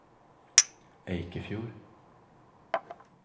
Eikefjord